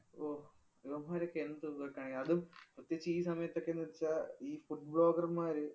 ഇവന്മാര് ഒക്കെ എന്തുവാ ഈ കാണി~ അതും പ്രത്യേകിച്ച് ഈ സമയത്തൊക്കെന്ന് വെച്ചാ ഈ food blogger മാര്